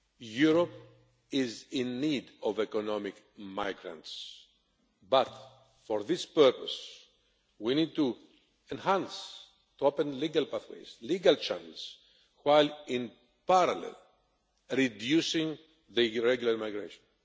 Europe is in need of economic migrants, but for this purpose we need to enhance and open legal pathways, legal channels, while in parallel reducing irregular migration.